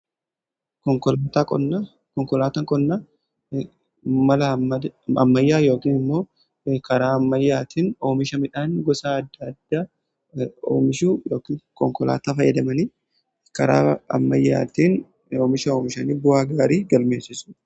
Konkolaata qonnaa mala ammayyaa yookiin immoo karaa ammayyaatiin oomisha midhaan gosa adda addaa konkolaataa fayyadamanii karaa oomisha oomishan bu'aa gaarii galmeessisu.